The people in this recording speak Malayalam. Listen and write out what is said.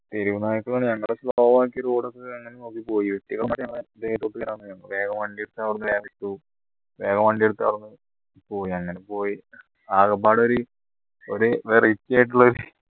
തെരുവ് നായ്ക്കൾ ഞങ്ങൾ slow ആക്കിയെരോ വേഗോ വണ്ടിയെടുത്ത് അവിടുന്ന് വേ വിട്ടു വേഗം വണ്ടിയെടുത്ത് അവിടുന്ന് പോയി അങ്ങനെ പോയി ആകെപ്പാടെ ഒരു ഒരു variety ആയിട്ടുള്ള